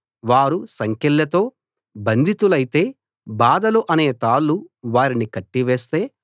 వారు సంకెళ్లతో బంధితులైతే బాధలు అనే తాళ్ళు వారిని కట్టివేస్తే